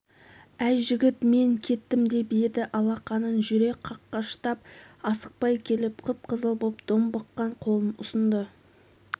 әй жігіт мен кеттім деп еді алақанын жүре қаққыштап асықпай келіп қып-қызыл боп домбыққан қолын ұсынды